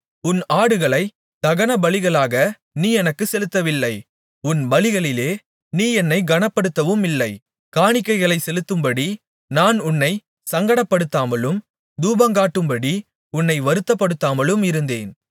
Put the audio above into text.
உன் ஆடுகளைத் தகனபலிகளாக நீ எனக்குச் செலுத்தவில்லை உன் பலிகளாலே நீ என்னைக் கனப்படுத்தவுமில்லை காணிக்கைகளைச் செலுத்தும்படி நான் உன்னைச் சங்கடப்படுத்தாமலும் தூபங்காட்டும்படி உன்னை வருத்தப்படுத்தாமலும் இருந்தேன்